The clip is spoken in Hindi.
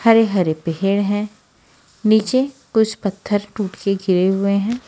हरे हरे पेड़ है नीचे कुछ पत्थर टूट के गिरे हुए हैं।